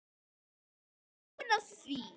Ég er búinn að því!